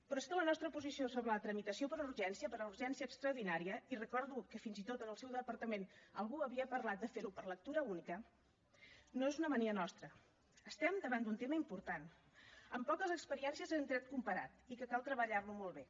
però és que la nostra posició sobre la tramitació per urgència per urgència extraordinària i recordo que fins i tot en el seu departament algú havia parlat de fer ho per lectura única no és una mania nostra estem davant d’un tema important amb poques experiències en dret comparat i que cal treballar lo molt bé